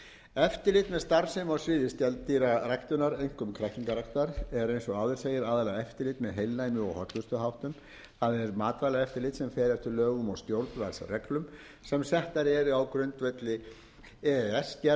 eftirlit með starfsemi á sviði skeldýraræktar einkum kræklingarækt er eins og áður segir aðallega eftirlit með heilnæmi og hollustuháttum það er matvælaeftirlit sem fer eftir lögum og stjórnvaldsreglum sem settar eru á grundvelli e e s gerða um það